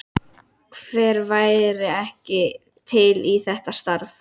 Hver væri ekki til í þetta starf?